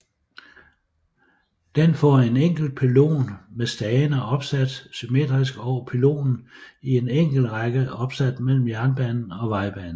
Den får en enkelt pylon med stagene opsat symmetrisk over pylonen i en enkelt række opsat mellem jernbanen og vejbanen